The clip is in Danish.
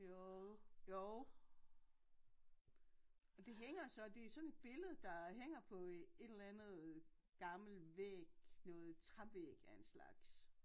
Jo jo og det hænger så det sådan et billede der hænger på et eller andet gammel væg noget trævæg af en slags